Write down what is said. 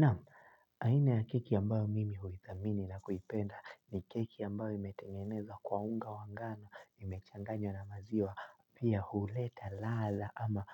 Nam, aina ya keki ambayo mimi huithamini na kuipenda ni keki ambayo imetengenezwa kwa unga wa ngano imechanganya na maziwa pia huleta ladha ama